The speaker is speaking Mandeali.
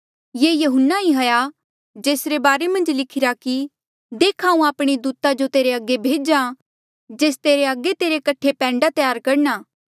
ये यहुन्ना ही हाया जेसरे बारे मन्झ लिखिरा कि देख हांऊँ आपणे दूता जो तेरे अगे भेज्हा जेस तेरे अगे तेरे कठे पैंडा त्यार करणा